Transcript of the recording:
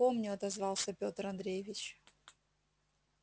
помню отозвался пётр андреевич